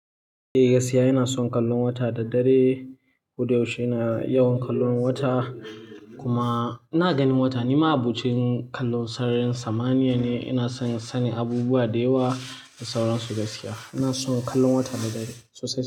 Eh, gaskiya ina son kallon wata da dare. Koda yaushe ina yawan kallon wata kuma ina ganin wata nima abucin kallon sararin samaniya ne. Ina son sanin abubuwa da yawa da sauransu gaskiya. Ina son kallon wata da dare sosai.